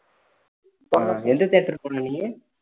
ஆஹ் எந்த theatre போன நீ